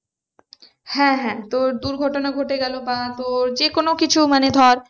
হ্যাঁ হ্যাঁ তোর দুর্ঘটনা ঘটে গেলো বা তোর যে কোনো কিছু মানে ধর